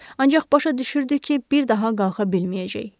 Ancaq başa düşürdü ki, bir daha qalxa bilməyəcək.